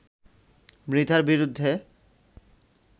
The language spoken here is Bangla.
মৃধার বিরুদ্ধে